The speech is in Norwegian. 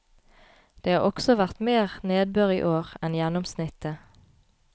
Det har også vært mer nedbør i år enn gjennomsnittet.